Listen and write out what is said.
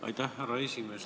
Aitäh, härra esimees!